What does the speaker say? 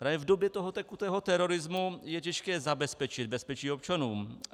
Právě v době toho tekutého terorismu je těžké zabezpečit bezpečí občanům.